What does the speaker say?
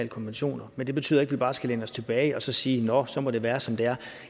konventioner men det betyder ikke at vi bare skal læne os tilbage og så sige nå så må det være som det er